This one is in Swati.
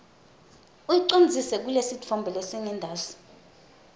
uyicondzise kulesitfombe lesingentasi